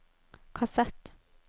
kassett